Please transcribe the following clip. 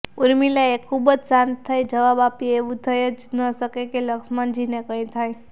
ઉર્મિલાએ ખુબજ શાંત થઈ જવાબ આપ્યો એવુ થઈ જ ન શકે કે લક્ષ્મણજીને કંઈ થાય